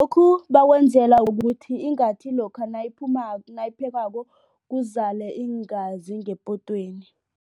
Lokhu bakwenzela ukuthi ingathi lokha nayiphekwako kuzale iingazi ngepotweni.